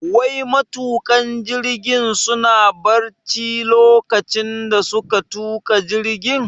Wai matuƙan jirgin suna barci lokacin da suka tuka jirgin?